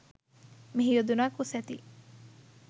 මෙහි යොදුනක් උසැති